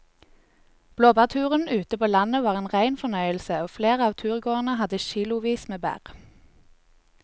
Blåbærturen ute på landet var en rein fornøyelse og flere av turgåerene hadde kilosvis med bær.